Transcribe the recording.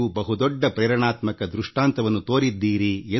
ನೀವು ಒಂದು ಮಾದರಿಯನ್ನೇ ಸೃಷ್ಟಿಸಿದ್ದೀರಿ